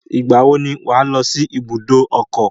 Ìgbà wo ni wà á lọ sí ibùdó ọkọ̀?